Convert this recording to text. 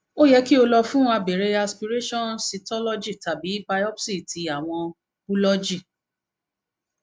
o yẹ ki o lọ fun fin abere aspiration cytology tabi biopsy ti awọn bulọọgi